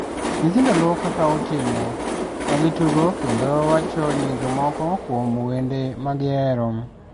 Nyithindo luwo kaka otimo, ka gitugo kendo wacho nyinge moko kuom wende ma gihero.